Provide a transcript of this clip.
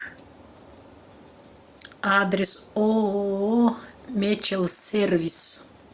адрес ооо мечел сервис